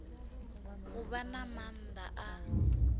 u vha na maanda a